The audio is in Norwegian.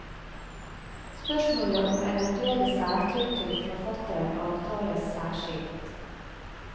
Spørsmålet om eventuelle særtrykk til forfatteren avtales særskilt.